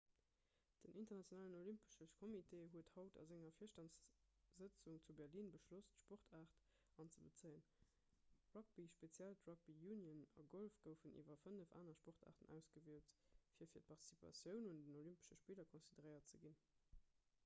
den internationalen olympesche kommitee huet haut a senger virstandssëtzung zu berlin beschloss d'sportaart anzebezéien rugby speziell d'rugby union a golf goufen iwwer fënnef anere sportaarten ausgewielt fir fir d'participatioun un den olympesche spiller consideréiert ze ginn